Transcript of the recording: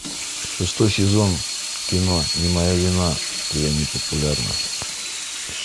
шестой сезон кино не моя вина что я не популярна